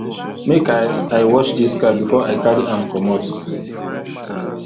make i i wash dis car before i carry am comot